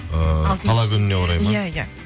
ыыы қала күніне орай ма иә иә